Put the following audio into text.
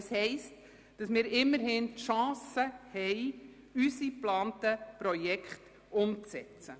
Dies bedeutet, dass wir immerhin die Chance haben, unsere geplanten Projekte umzusetzen.